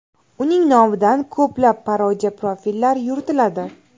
Uning nomidan ko‘plab parodiya profillar yuritiladi.